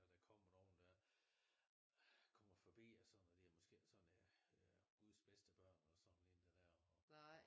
Der kommer nogen dér kommer forbi og sådan og det måske sådan guds bedste børn og sådan ikke det der